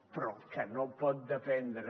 però el que no pot dependre